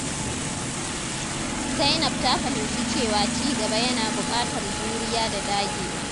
Zainab ta fahimci cewa cigaba yana buƙatar juriya da dagewa.